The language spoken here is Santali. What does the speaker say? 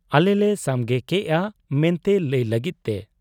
ᱟᱞᱮᱞᱮ ᱥᱟᱢᱜᱮ ᱠᱮᱜ ᱟ ᱢᱮᱱᱛᱮ ᱞᱟᱹᱭ ᱞᱟᱹᱜᱤᱫ ᱛᱮ ᱾